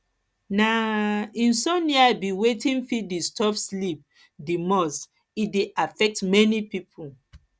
na um insomnia be wetin fit disturb sleep di most e dey affect many people